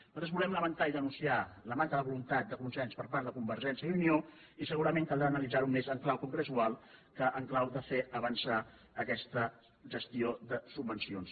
nosaltres volem lamentar i denunciar la manca de vo·luntat de consens per part de convergència i unió i se·gurament caldrà analitzar·ho més en clau congressual que en clau de fer avançar aquesta gestió de subvencions